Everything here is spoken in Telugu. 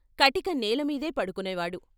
కటిక నేలమీదే పడుకునేవాడు....